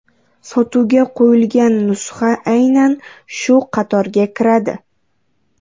Sotuvga qo‘yilgan nusxa aynan shu qatorga kiradi.